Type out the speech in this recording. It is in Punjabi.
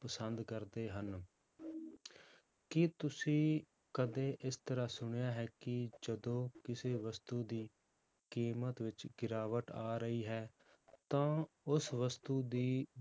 ਪਸੰਦ ਕਰਦੇ ਹਨ ਕੀ ਤੁਸੀਂ ਕਦੇ ਇਸ ਤਰ੍ਹਾਂ ਸੁਣਿਆ ਹੈ ਕਿ ਜਦੋਂ ਕਿਸੇ ਵਸਤੂ ਦੀ ਕੀਮਤ ਵਿੱਚ ਗਿਰਾਵਟ ਆ ਰਹੀ ਹੈ ਤਾਂ ਉਸ ਵਸਤੂ ਦੀ,